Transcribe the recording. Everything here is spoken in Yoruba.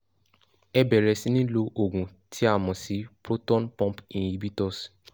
ẹ bẹ̀rẹ̀ sí ní lo òògùn tí a mọ̀ sí proton pump inhibitors